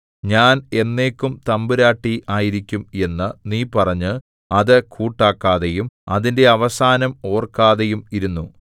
ഞാൻ എന്നേക്കും തമ്പുരാട്ടി ആയിരിക്കും എന്നു നീ പറഞ്ഞ് അത് കൂട്ടാക്കാതെയും അതിന്റെ അവസാനം ഓർക്കാതെയും ഇരുന്നു